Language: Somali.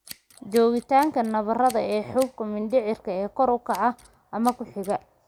Joogitaanka nabarrada intramucosal ee xuubka mindhicirka ee kor u kaca ama ku xiga.